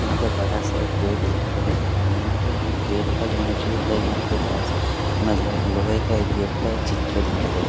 यहाँ पे बड़ा सा एक पेड़ दिखाई दे रहा है और यहाँ पे गेट का जो एंट्री होता है यहाँ पे म मतलब लोहे का एक गेट का एक चित्र दिखाई दे रहा है।